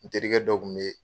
N terikɛ dɔ kun bɛ ye.